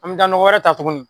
An mɛ taa nɔgɔ wɛrɛ ta tuguni.